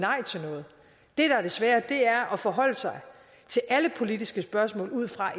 noget det der er det svære er at forholde sig til alle politiske spørgsmål ud fra